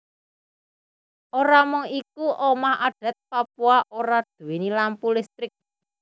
Ora mung iku omah adat Papua ora duwéni lampu listrik